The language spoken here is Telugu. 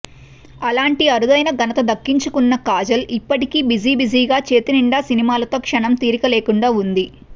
అలాంటి అరుదైన ఘనత దక్కించుకున్న కాజల్ ఇప్పటికీ బిజీ బిజీగా చేతినిండా సినిమాలతో క్షణం తీరిక లేకుండా వుంది